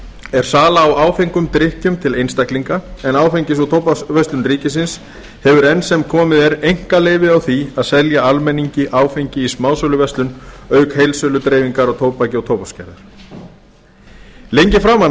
er sala á áfengum drykkjum til einstaklinga en áfengis og tóbaksverslun ríkisins hefur enn sem komið er einkaleyfi á því að selja almenningi áfengi í smásöluverslun auk heildsöludreifingar á tóbaki og tóbaksgerðar lengi framan